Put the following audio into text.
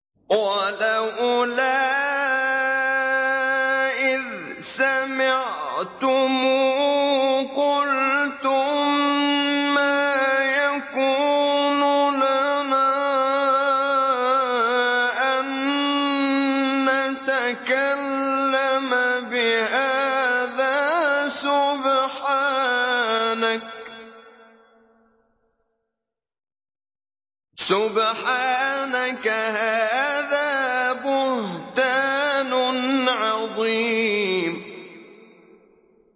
وَلَوْلَا إِذْ سَمِعْتُمُوهُ قُلْتُم مَّا يَكُونُ لَنَا أَن نَّتَكَلَّمَ بِهَٰذَا سُبْحَانَكَ هَٰذَا بُهْتَانٌ عَظِيمٌ